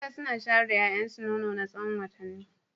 Mata suna shayar da 'ya'yansu nono na tsawon watanni.